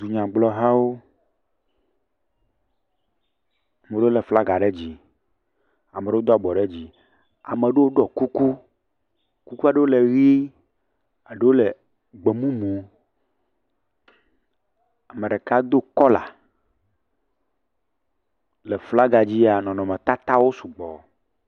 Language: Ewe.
Dunyagblɔhawo, ame aɖewo lé flaga ɖe dzi, ame ɖewo do abɔ ɖe dzi, ame ɖewo ɖɔ kuku, kukua ɖewo le ʋe, ɖewo le gbemumu, ame ɖeka do kɔla. Le flaga dzia nɔnɔmetatawo sugbɔ.